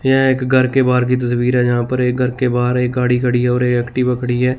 यह एक घर के बाहर की तस्वीर जहां पर एक घर के बाहर एक गाड़ी खड़ी है और एक्टिवा खड़ी है।